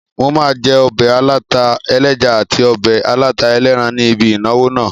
Mo máa jẹ́ obẹ̀ aláta ẹlẹ́ja àti ọbẹ̀ aláta ẹlẹ́ran ní ibi ìnáwó náà